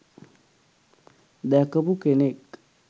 දැකපු කෙනෙක්..